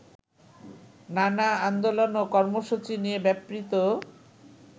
নানা আন্দোলন ও কর্মসূচি নিয়ে ব্যাপৃত